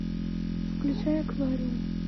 включай аквариум